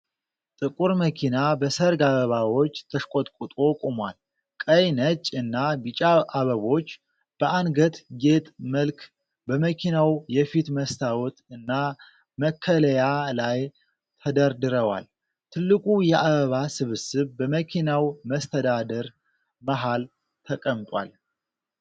ጥቁር መኪና በሠርግ አበባዎች ተሽቆጥቁጦ ቆሟል። ቀይ፣ ነጭ እና ቢጫ አበቦች በአንገት ጌጥ መልክ በመኪናው የፊት መስታወት እና መከለያ ላይ ተደርድረዋል። ትልቁ የአበባ ስብስብ በመኪናው መስተዳድር መሃል ተቀምጧል።